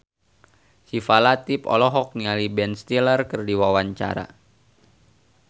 Syifa Latief olohok ningali Ben Stiller keur diwawancara